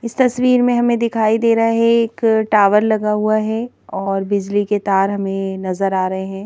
इस तस्वीर में हमें दिखाई दे रहा है एक टावर लगा हुआ हैऔर बिजली के तार हमें नजर आ रहे हैं।